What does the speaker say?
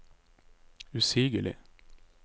usigelig